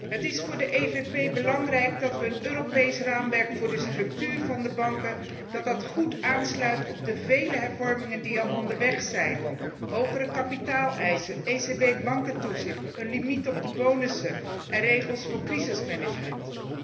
Het is voor de EVP belangrijk dat een Europees raamwerk voor de structuur van de banken goed aansluit op de vele hervormingen die al onderweg zijn hogere kapitaaleisen, ECB bankentoezicht, een limiet op de bonussen en regels voor crisismanagement.